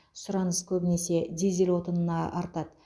сұраныс көбінесе дизель отынына артады